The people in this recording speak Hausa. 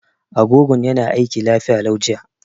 Agogon yana aiki lafiya lau jiya.